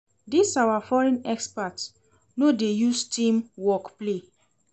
Dis our foreign expert no dey use team work play.